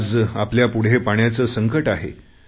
आज आपल्यापुढे पाण्याचे संकट आहे